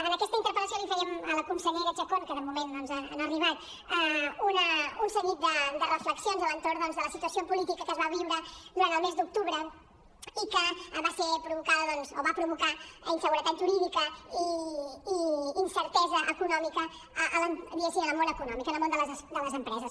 en aquesta interpel·lació li fèiem a la consellera chacón que de moment no ha arribat un seguit de reflexions a l’entorn doncs de la situació política que es va viure durant el mes d’octubre i que va ser provocada o va provocar inseguretat jurídica i incertesa econòmica diguéssim en el món econòmic en el món de les empreses